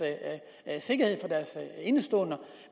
sikkerhed for deres indestående